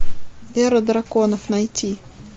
эра драконов найти